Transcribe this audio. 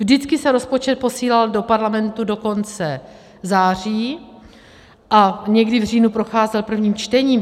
Vždycky se rozpočet posílal do parlamentu do konce září a někdy v říjnu procházel prvním čtením.